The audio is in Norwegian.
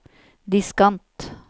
diskant